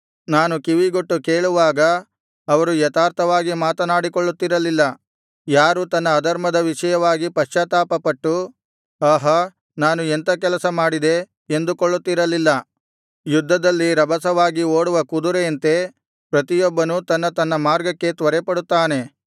ನಾನು ಕಿವಿಗೊಟ್ಟು ಕೇಳುವಾಗ ಅವರು ಯಥಾರ್ಥವಾಗಿ ಮಾತನಾಡಿಕೊಳ್ಳುತ್ತಿರಲಿಲ್ಲ ಯಾರು ತನ್ನ ಅಧರ್ಮದ ವಿಷಯವಾಗಿ ಪಶ್ಚಾತ್ತಾಪಪಟ್ಟು ಆಹಾ ನಾನು ಎಂಥಾ ಕೆಲಸ ಮಾಡಿದೆ ಎಂದುಕೊಳ್ಳುತ್ತಿರಲಿಲ್ಲ ಯುದ್ಧದಲ್ಲಿ ರಭಸವಾಗಿ ಓಡುವ ಕುದುರೆಯಂತೆ ಪ್ರತಿಯೊಬ್ಬನೂ ತನ್ನ ತನ್ನ ಮಾರ್ಗಕ್ಕೆ ತ್ವರೆಪಡುತ್ತಾನೆ